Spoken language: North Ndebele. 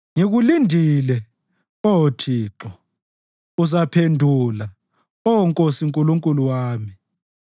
Ngikulindele, Oh Thixo, uzaphendula, Oh Nkosi Nkulunkulu wami.